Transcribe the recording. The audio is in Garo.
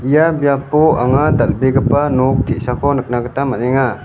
ia biapo anga dal·begipa nok te·sako nikna gita man·enga.